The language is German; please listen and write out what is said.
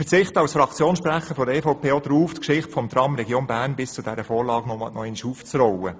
Als Fraktionssprecher der EVP verzichte ich darauf, die Geschichte des Trams Region Bern nochmals aufzurollen.